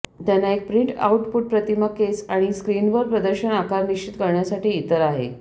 त्यांना एक print output प्रतिमा केस आणि स्क्रीनवर प्रदर्शन आकार निश्चित करण्यासाठी इतर आहे